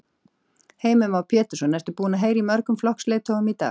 Heimir Már Pétursson: Ertu búin að heyra í mörgum flokksleiðtogum í dag?